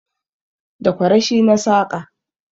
Da Kwarashe na saƙa